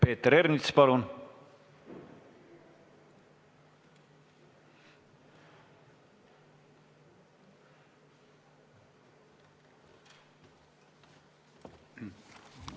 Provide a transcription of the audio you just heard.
Peeter Ernits, palun!